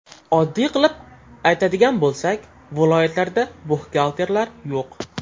Oddiy qilib aytadigan bo‘lsak viloyatlarda buxgalterlar yo‘q.